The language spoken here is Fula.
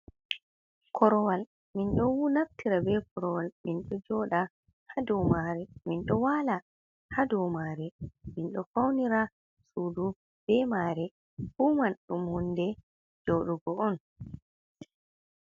Korowal min ɗo naftira be korowal minɗo joɗa ha dou mare, minɗo wala ha dou mare, min ɗo faunira sudu be mare, fu man ɗum hunde joɗugo on.